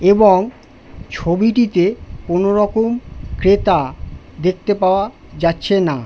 এবং ছবিটিতে কোনো রকম ক্রেতা দেখতে পাওয়া যাচ্ছে না--